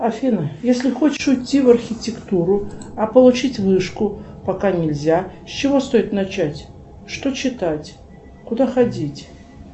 афина если хочешь уйти в архитектуру а получить вышку пока нельзя с чего стоит начать что читать куда ходить